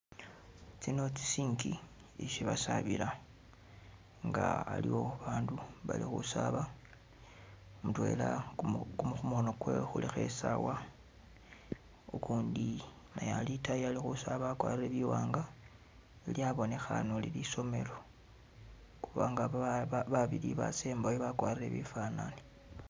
Tsino tsi sink ishi basaabila nga aliwo abandu bali khusaaba mutwela kumu- kumu-khumukhono kwewe khulikho isawa ukundi naye ali itaayi ali khusaaba akwarire biwanga lyabonekhane uli lisomelo kubanga ba-babili basembayo bakwarire bifanane